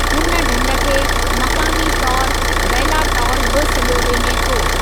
हुन ढंढ खे मक़ामी तौर बैला टाल बि सॾियो वञे थो।